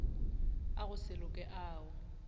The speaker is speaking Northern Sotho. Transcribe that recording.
a go se loke ao